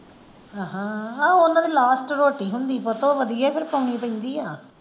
ਅਹ ਹਾਂ ਓਹਨਾ ਦੀ last ਰੋਟੀ ਹੁੰਦੀ ਪੁੱਤ ਉਹ ਵਧੀਆ ਹੀ ਫਿਰ ਪਾਉਣੀ ਪੈਂਦੀ ਆ।